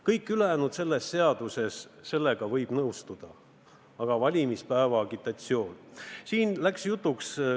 Kõige ülejäänuga selles seaduses võib nõustuda, aga mitte valimispäeva agitatsiooni lubamisega.